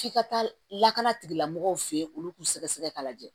F'i ka taa lakana tigilamɔgɔw fɛ ye olu k'u sɛgɛsɛgɛ k'a lajɛ